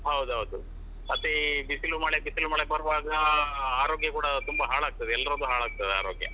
ಹೌದು ಹೌದು ಮತ್ತೆ ಈ ಬಿಸಿಲು ಮಳೆ ಬಿಸಿಲು ಮಳೆ ಬರುವಾಗ ಆರೋಗ್ಯ ಕೂಡ ತುಂಬಾ ಹಾಳಾಗ್ತದೆ ಎಲ್ಲರದ್ದು ಹಾಳಾಗ್ತದೆ ಆರೋಗ್ಯ.